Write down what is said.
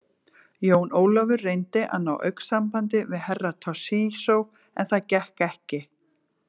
Jón Ólafur reyndi að ná augnsambandi við Herra Toshizo, en það gekk ekki.